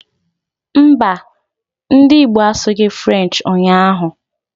Mbà, ndị Igbo asughi Frenchi ụnyaahụ